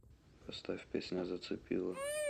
поставь песня зацепило